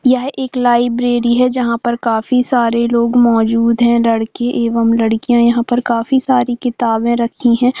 यह एक लाइब्रेरी है जहाँ पर काफी सारे लोग मौजूद है लड़के एवं लड़कियाँ यहाँ पर काफी सारे किताब रखी है।